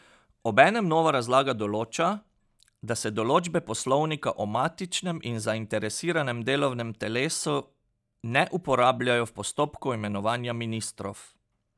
Obenem nova razlaga določa, da se določbe poslovnika o matičnem in zainteresiranem delovnem telesu ne uporabljajo v postopku imenovanja ministrov.